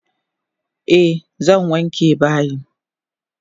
Eh zan wanke bayin.